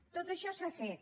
tot això s’ha fet